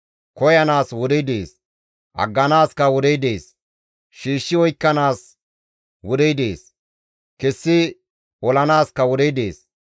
Koyanaas wodey dees; agganaaskka wodey dees. Shiishshi oykkanaas wodey dees; kessi olanaaska wodey dees.